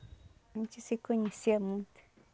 A gente se conhecia muito.